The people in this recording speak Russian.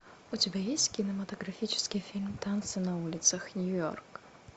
у тебя есть кинематографический фильм танцы на улицах нью йорк